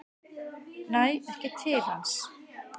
Næ ekki til hans.